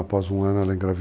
Após um ano ela engravidou.